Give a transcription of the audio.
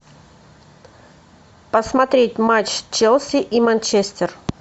посмотреть матч челси и манчестер